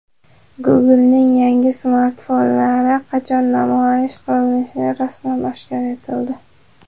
Google’ning yangi smartfonlari qachon namoyish qilinishi rasman oshkor etildi.